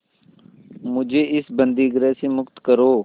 मुझे इस बंदीगृह से मुक्त करो